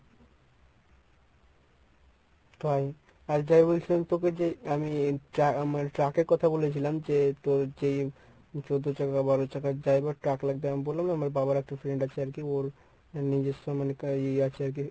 তাই? আর যা বলছিলাম তোকে যে আমি tru~ truck এর কথা বলেছিলাম যে তোর যেই চোদ্দ চাকা বারো চাকা যাই বা truck লাগবে আমি বললাম না আমার বাবার একটা friend আছে আরকি ওর নিজস্ব মানে ই আছে আরকি।